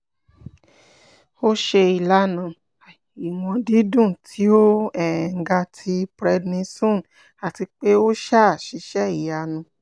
o ṣe ilana iwọn didun ti o um ga ti prednisone ati pe o um ṣiṣẹ iyanu